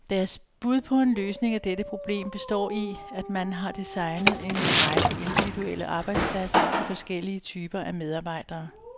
Deres bud på en løsning af dette problem består i, at man har designet en række individuelle arbejdspladser til forskellige typer af medarbejdere.